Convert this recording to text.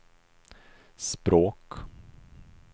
språk